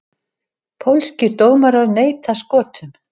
Pólskir dómarar neita Skotum